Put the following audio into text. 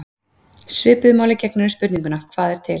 Svipuðu máli gegnir um spurninguna: Hvað er til?